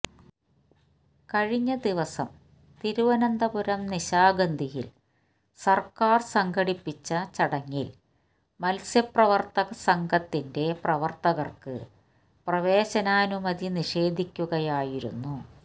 കഴിഞ്ഞ ദിവസം തിരുവനന്തപുരം നിശാഗന്ധിയില് സര്ക്കാര് സംഘടിപ്പിച്ച ചടങ്ങില് മത്സ്യപ്രവര്ത്തകസംഘത്തിന്റെ പ്രവര്ത്തകര്ക്ക് പ്രവേശനനാനുമതി നിഷേധിക്കുകയായിരുന്നു